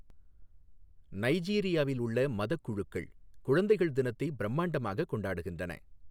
நைஜீரியாவில் உள்ள மதக் குழுக்கள் குழந்தைகள் தினத்தை பிரம்மாண்டமாகக் கொண்டாடுகின்றன.